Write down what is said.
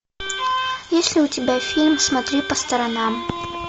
есть ли у тебя фильм смотри по сторонам